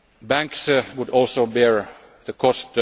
Banks would also bear the cost.